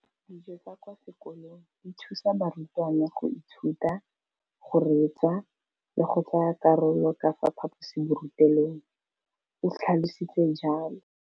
Dijo tsa kwa sekolong dithusa barutwana go ithuta, go reetsa le go tsaya karolo ka fa phaposiborutelong, o tlhalositse jalo.